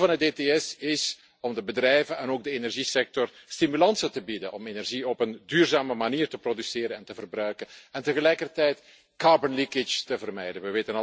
Het doel van het ETS is om de bedrijven en ook de energiesector stimulansen te bieden om energie op een duurzame manier te produceren en te verbruiken en tegelijkertijd koolstoflekkage te vermijden.